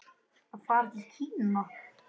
Að fara til Kína?